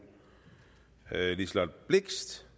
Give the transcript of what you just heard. liselott blixt